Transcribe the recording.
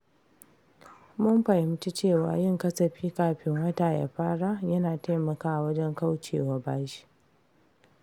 Mun fahimci cewa yin kasafi kafin wata ya fara yana taimakawa wajen kauce wa bashi.